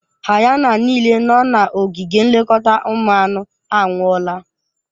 Hayana niile nọ n'ogige nlekọta ụmụ anụ anwụọla.